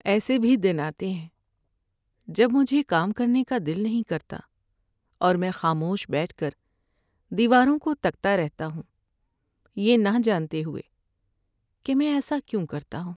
ایسے بھی دن آتے ہیں جب مجھے کام کرنے کا دل نہیں کرتا اور میں خاموش بیٹھ کر دیواروں کو تکتا رہتا ہوں یہ نہ جانتے ہوئے کہ میں ایسا کیوں کرتا ہوں۔